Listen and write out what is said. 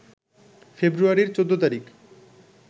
ফেব্রুয়ারির ১৪ তারিখ